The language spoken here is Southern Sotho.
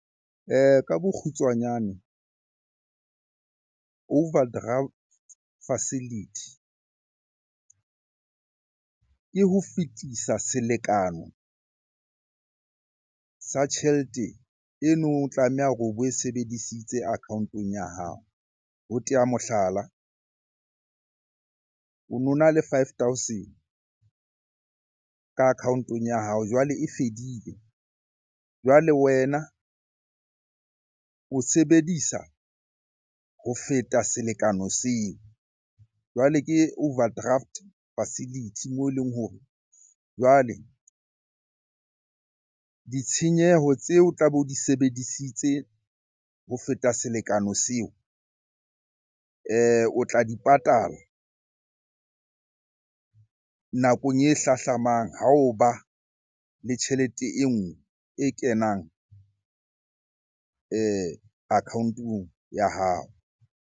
Ka bokgutswanyane, overdraft facility ke ho fetisa selekane sa tjhelete eno o tlameha hore o bo e sebedisitse account-ong ya hao. Ho teya mohlala, o no na le five thousand ka account-ong ya hao jwale e fedile. Jwale wena o sebedisa ho feta selekane seo. Jwale ke overdraft facility moo eleng hore jwale ditshenyeho tseo tlabe o di sebedisitse ho feta selekane seo, o tla di patala nakong e hlahlamang ha o ba le tjhelete enngwe e kenang account-ong ya hao.